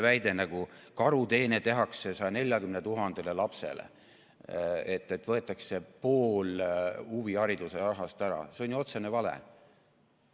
Väide, et 140 000 lapsele tehakse karuteene, neilt võetakse pool huvihariduse rahast ära, on ju otsene vale.